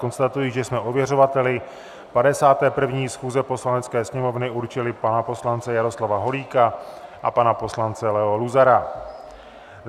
Konstatuji, že jsme ověřovateli 51. schůze Poslanecké sněmovny určili pana poslance Jaroslava Holíka a pana poslance Leo Luzara.